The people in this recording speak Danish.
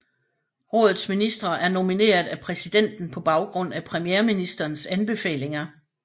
Rådets ministre er nomineret af præsidenten på baggrund af premierministerens anbefalinger